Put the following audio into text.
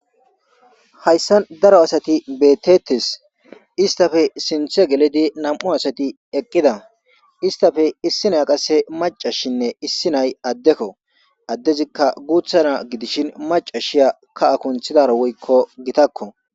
hayssa daro asati beetetes istafe sinthe gelidi nam7u asati eqqida istafe issina qasse macashinne issinay addekko addezikka guuthana gidishin macashiya ka akunthidara woykko gitakko